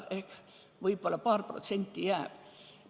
Ehk võib-olla paar protsenti jääb.